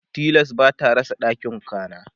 tilas bata rasa ɗakin kwana